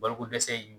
Balokodɛsɛ in